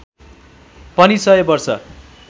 पनि सय वर्ष